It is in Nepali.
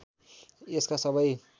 यसका सबै